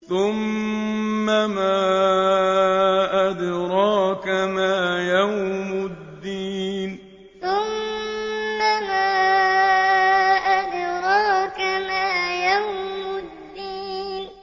ثُمَّ مَا أَدْرَاكَ مَا يَوْمُ الدِّينِ ثُمَّ مَا أَدْرَاكَ مَا يَوْمُ الدِّينِ